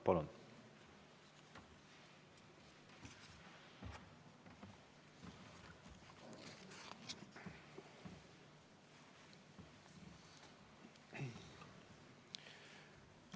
Palun!